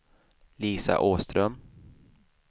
Lisa Åström